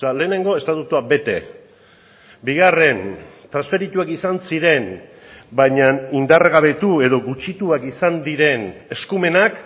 lehenengo estatutua bete bigarren transferituak izan ziren baina indargabetu edo gutxituak izan diren eskumenak